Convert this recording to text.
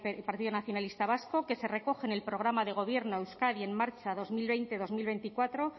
y partido nacionalista vasco que se recoge en el programa de gobierno euskadi en marcha dos mil veinte dos mil veinticuatro